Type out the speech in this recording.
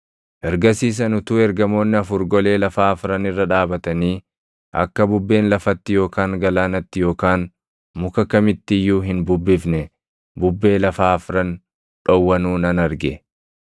Ergasiis ani utuu ergamoonni afur golee lafaa afran irra dhaabatanii akka bubbeen lafatti yookaan galaanatti yookaan muka kamitti iyyuu hin bubbifne bubbee lafaa afran dhowwanuu nan arge.